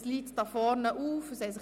Die Liste liegt hier vorne auf.